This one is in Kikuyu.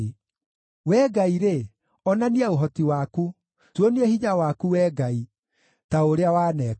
Wee Ngai-rĩ, onania ũhoti waku; tuonie hinya waku, Wee Ngai, ta ũrĩa waneka.